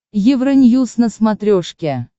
евроньюз на смотрешке